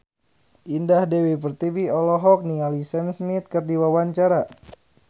Indah Dewi Pertiwi olohok ningali Sam Smith keur diwawancara